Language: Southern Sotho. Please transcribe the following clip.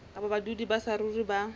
kapa badudi ba saruri ba